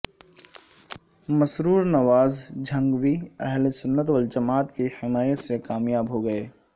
مسرور نواز جھنگوی اہلسنت والجماعت کی حمایت سے کامیاب ہو گئے